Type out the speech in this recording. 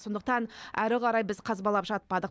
сондықтан әрі қарай біз қазбалап жатпадық